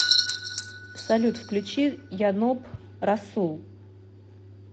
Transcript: салют включи яноб расул